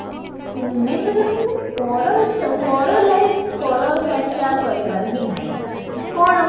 ହୁଁ main କଥା କ'ଣ କହିଲ ପର ପର like ପର ଚର୍ଚ୍ଚା କରିବାର ହିଁ ନାହିଁ କ'ଣ